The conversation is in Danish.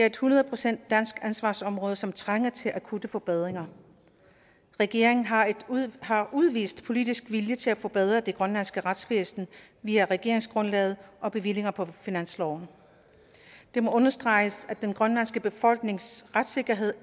et hundrede procent dansk ansvarsområde som trænger til akutte forbedringer regeringen har har udvist politisk vilje til at forbedre det grønlandske retsvæsen via regeringsgrundlaget og bevillinger på finansloven det må understreges at den grønlandske befolknings retssikkerhed